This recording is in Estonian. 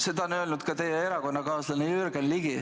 Seda on öelnud ka teie erakonnakaaslane Jürgen Ligi.